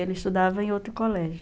Ele estudava em outro colégio.